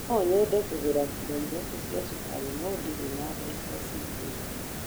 No nyende kũgũra kilo ithatũ cia cukari no ndirĩ na mbeca cia kũigana